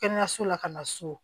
Kɛnɛyaso la ka na so